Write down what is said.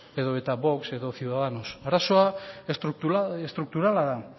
edota vox edo ciudadanos arazoa estrukturala da